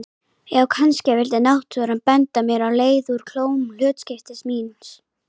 Já, kannski vildi náttúran benda mér á leið úr klóm hlutskiptis míns.